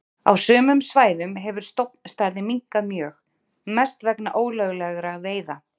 Á sumum svæðum hefur stofnstærðin minnkað mjög, mest vegna ólöglegra veiða.